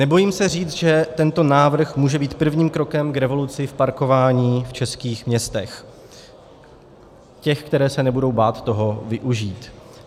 Nebojím se říct, že tento návrh může být prvním krokem k revoluci v parkování v českých městech, těch, která se nebudou bát toho využít.